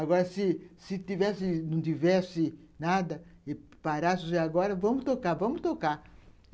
Agora, se se tivesse não tivesse nada e parasse agora, vamos tocar, vamos tocar.